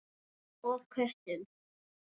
Og köttum.